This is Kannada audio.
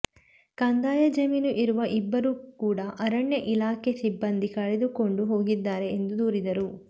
ಕಂದಾಯ ಜಮೀನು ಇರುವ ಇಬ್ಬರು ಕೂಡಅರಣ್ಯ ಇಲಾಖೆ ಸಿಬ್ಬಂದಿ ಕರೆದುಕೊಂಡು ಹೋಗಿದ್ದಾರೆ ಎಂದು ದೂರಿದರು